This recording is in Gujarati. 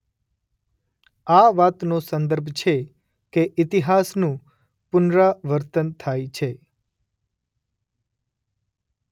આ વાર્તાનો સંદર્ભ છે કે ઇતિહાસનું પુનરાવર્તન થાય છે.